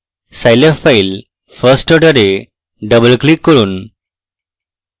scilab file firstorder এ double click করুন